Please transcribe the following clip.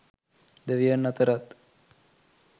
දෙවියන් අතරත්